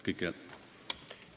Kõike head!